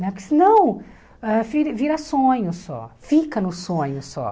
Né porque senão ãh vira vira sonho só, fica no sonho só.